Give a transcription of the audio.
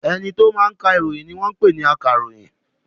Ẹni tó máa ka ìròyìn ni wọ́n ń pè ní akàròyìn.